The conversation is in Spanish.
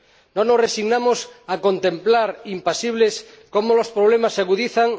no nos resignamos a contemplar impasibles cómo los problemas se agudizan